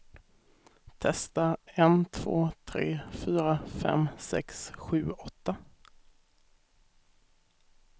Testar en två tre fyra fem sex sju åtta.